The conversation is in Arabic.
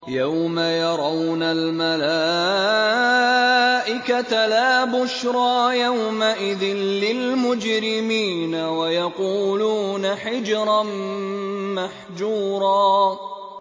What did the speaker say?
يَوْمَ يَرَوْنَ الْمَلَائِكَةَ لَا بُشْرَىٰ يَوْمَئِذٍ لِّلْمُجْرِمِينَ وَيَقُولُونَ حِجْرًا مَّحْجُورًا